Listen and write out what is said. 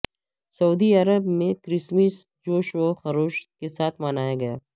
سعودی عرب میں کرسمس جوش وخروش کے ساتھ منایا گیا